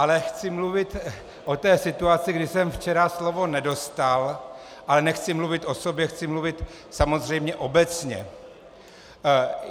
Ale chci mluvit o té situaci, kdy jsem včera slovo nedostal, ale nechci mluvit o sobě, chci mluvit samozřejmě obecně.